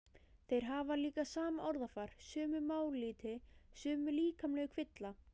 Þeir hafa líka sama orðafar, sömu mállýti, sömu líkamlegu kvilla.